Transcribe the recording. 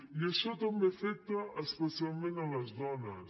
i això també afecta especialment les dones